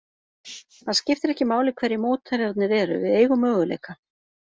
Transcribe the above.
Það skiptir ekki máli hverjir mótherjarnir eru, við eigum möguleika.